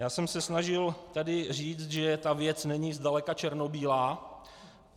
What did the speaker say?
Já jsem se snažil tady říct, že ta věc není zdaleka černobílá.